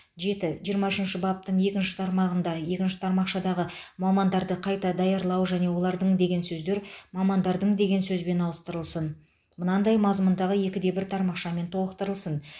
жеті жиырма үшінші баптың екінші тармағында екінші тармақшадағы мамандарды қайта даярлау және олардың деген сөздер мамандардың деген сөзбен ауыстырылсын мынадай мазмұндағы екіде бір тармақшамен толықтырылсын